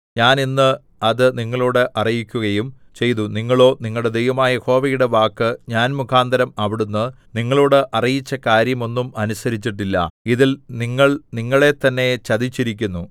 ഞാൻ ഇന്ന് അത് നിങ്ങളോട് അറിയിക്കുകയും ചെയ്തു നിങ്ങളോ നിങ്ങളുടെ ദൈവമായ യഹോവയുടെ വാക്ക് ഞാൻ മുഖാന്തരം അവിടുന്ന് നിങ്ങളോട് അറിയിച്ച കാര്യം ഒന്നും അനുസരിച്ചിട്ടില്ല ഇതിൽ നിങ്ങൾ നിങ്ങളെത്തന്നെ ചതിച്ചിരിക്കുന്നു